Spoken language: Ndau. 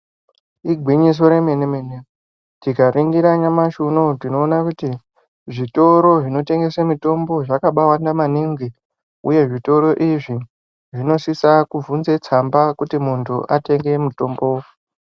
Igwinyiso remene mene tikaringira nyamashi unou tinoona kuti zvitoro zvinotengese mitombo zvakabaawanda maningi uye zvitoro izvi zvinosisa kubvunza tsamba kuti muntu atenge mutombo.